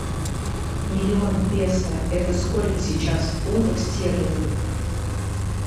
миллион песо это сколько сейчас в фунтах стерлингов